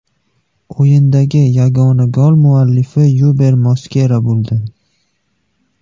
O‘yindagi yagona gol muallifi Yuber Moskera bo‘ldi.